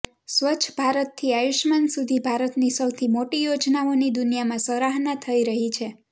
સ્વચ્છ ભારતથી આયુષ્માન સુધી ભારતની સૌથી મોટી યોજનાઓની દુનિયામાં સરાહના થઈ રહી છે